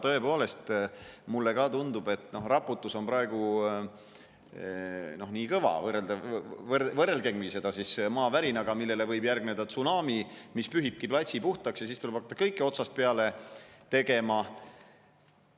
Tõepoolest, ka mulle tundub, et raputus on praegu nii kõva, et võrrelgemgi seda maavärinaga, millele võib järgneda tsunami, mis pühibki platsi puhtaks, ja siis tuleb hakata kõike otsast peale tegema.